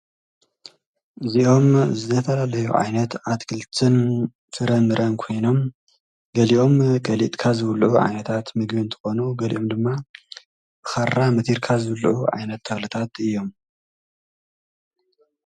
እዚኦም ዘተላለዩ ዓይነት ኣትክልትን ተረምረን ኮይኖም ገሊኦም ቀሊጥካ ዝብልዑ ዓይነታት ምግምንቲ ኾኑ ገሊኦም ድማ ብኻራ ምቲርካ ዘብሉዑ ዓይነት ኣትክልትታት እዮም።